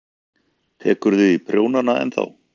Haukur: Tekurðu í prjónana ennþá?